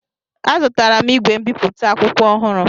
Azụtara m igwe mbipụta akwụkwọ ọhụrụ